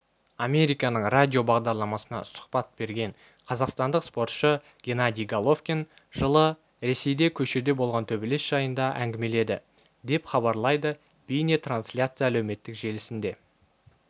американың радиобағдарламасына сұхбат берген қазақстандық спортшы геннадий головкин жылы ресейде көшеде болған төбелес жайында әңгімеледі деп хабарлайды бейнетрансляция әлеуметтік желісінде